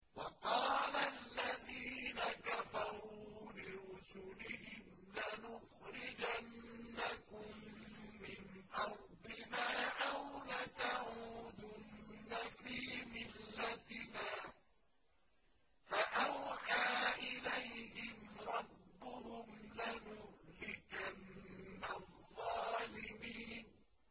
وَقَالَ الَّذِينَ كَفَرُوا لِرُسُلِهِمْ لَنُخْرِجَنَّكُم مِّنْ أَرْضِنَا أَوْ لَتَعُودُنَّ فِي مِلَّتِنَا ۖ فَأَوْحَىٰ إِلَيْهِمْ رَبُّهُمْ لَنُهْلِكَنَّ الظَّالِمِينَ